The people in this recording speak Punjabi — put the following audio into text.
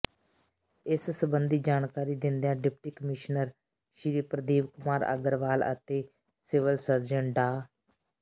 ਇਸ ਸੰਬੰਧੀ ਜਾਣਕਾਰੀ ਦਿੰਦਿਆਂ ਡਿਪਟੀ ਕਮਿਸ਼ਨਰ ਸ੍ਰੀ ਪ੍ਰਦੀਪ ਕੁਮਾਰ ਅਗਰਵਾਲ ਅਤੇ ਸਿਵਲ ਸਰਜਨ ਡਾ